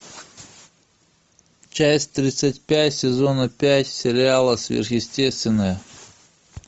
часть тридцать пять сезона пять сериала сверхъестественное